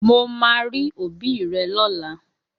Mo máa rí òbí rẹ lọ́la!